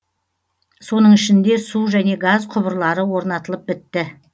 соның ішінде су және газ құбырлары орнатылып бітті